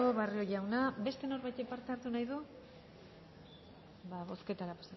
barrio jauna beste norbaitek parte hartu nahi du ba bozketara